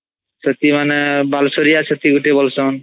ଛତି ମାନେ ବାଲସୋରିଆ ଛତି ଗୋଟେ ବୋଲଚାନ୍